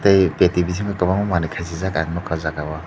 tei peti bisingo tongo manui kasijak ang nogkha o jaga o.